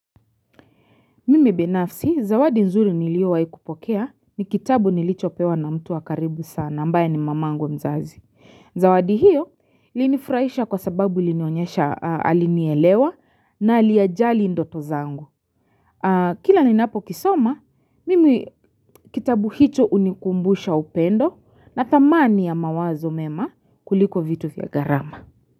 Mimi binafsi, zawadi nzuri niliowahi kupokea ni kitabu nilichopewa na mtu wa karibu sana, ambaye ni mamangu mzazi. Zawadi hiyo, ilinifurahisha kwa sababu ilinionyesha alinielewa na aliyajali ndoto zangu. Kila ninapo kisoma, mimi kitabu hicho hunikumbusha upendo natamani ya mawazo mema kuliko vitu vya gharama.